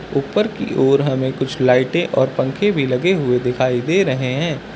ऊपर की ओर हमें कुछ लाइटे और पंखे भी लगे हुए दिखाई दे रहे हैं।